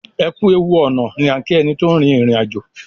ẹkú ẹwù ọnà ní a ki ẹní tó rin ìrìn àjò.